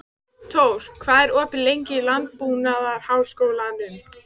Tór, hvað er opið lengi í Landbúnaðarháskólanum?